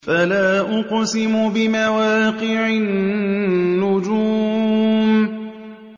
۞ فَلَا أُقْسِمُ بِمَوَاقِعِ النُّجُومِ